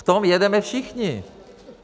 V tom jedeme všichni.